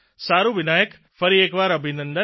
સારૂં વિનાયક ફરી એકવાર અભિનંદન